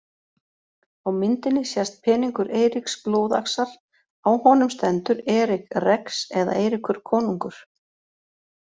Á myndinni sést peningur Eiríks blóðaxar, á honum stendur Eric Rex eða Eiríkur konungur.